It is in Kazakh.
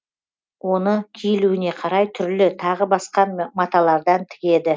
оны киілуіне қарай түрлі тағы басқа маталардан тігеді